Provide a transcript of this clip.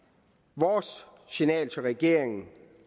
vores signal til regeringen